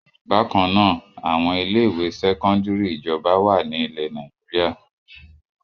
Bákan náà, àwọn ilé-ìwé sẹ́kọ́ndárì ìjọba wà ní ilẹ̀ Nàìjíríà.